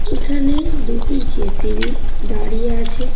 এখানে দুটি জে.সি.বি. দাঁড়িয়ে আছে।